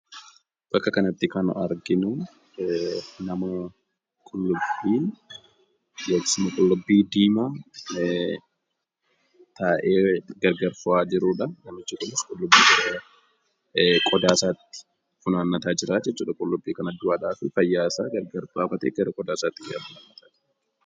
Bakka kanatti kan arginu, nama qullubbii diimaa taa'ee gargar fo'aa jirudha. Namichi kunis qullubbii qodaa isaatti funaannataa jiraa jechuudha. Qullubbii du'aa fi fayyaa isaa gargar baafatee gara qodaa isaatti funaannata.